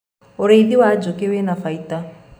ũrĩithi wa njũũkĩ wina baida